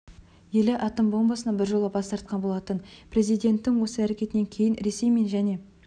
елі атом бомбасынан бір жола бас тартқан болатын президенттің осы әрекетінен кейін ресей мен және